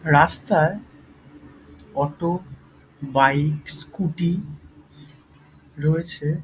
রাস্তায় auto bike scooty রয়েছে।